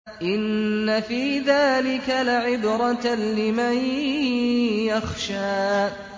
إِنَّ فِي ذَٰلِكَ لَعِبْرَةً لِّمَن يَخْشَىٰ